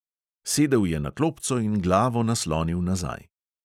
Sedel je na klopco in glavo naslonil nazaj.